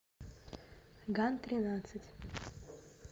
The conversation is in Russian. ган тринадцать